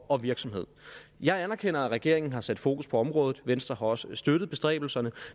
og virksomhed jeg anerkender at regeringen har sat fokus på området venstre har også støttet bestræbelserne